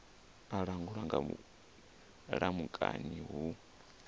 a langulwa nga mulamukanyi hu